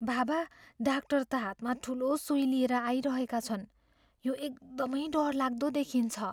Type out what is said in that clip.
बाबा डाक्टर त हातमा ठुलो सुई लिएर आइरहेका छन्। यो एकदमै डरलाग्दो देखिन्छ।